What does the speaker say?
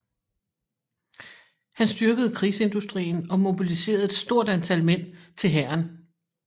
Han styrkede krigsindustrien og mobiliserede et stort antal mænd til hæren